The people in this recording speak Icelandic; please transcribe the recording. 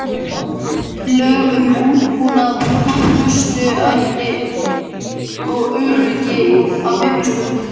Lög um aðbúnað, hollustuhætti og öryggi á vinnustöðum.